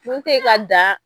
Kun tɛ ka dan